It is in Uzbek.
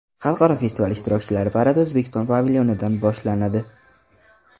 Xalqaro festival ishtirokchilari paradi O‘zbekiston pavilyonidan boshlanadi.